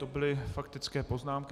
To byly faktické poznámky.